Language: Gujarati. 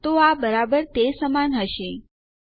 તો આ બરાબર તે સમાન હશે ઓહ નો